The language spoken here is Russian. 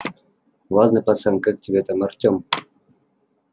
ладно пацан как тебя там артём